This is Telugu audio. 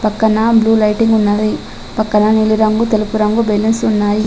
పక్కన బ్లూ లైటింగ్ ఉన్నది. పక్కన నీలిరంగు తెలుపు రంగు బెలూన్స్ ఉన్నాయి.